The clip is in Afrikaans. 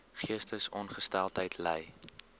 geestesongesteldheid ly